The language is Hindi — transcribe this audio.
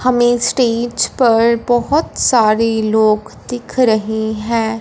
हमें स्टेज पर बहोत सारे लोग दिख रहे हैं।